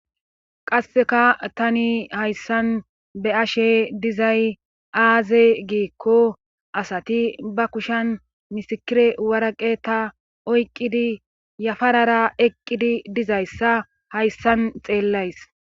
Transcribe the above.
qasseka tani hayssan be'ashe dizay aaze giikko asati ba kushan misikire waraqeta oyqqidi yafarara eqqidi dizayssa hayssan xeellays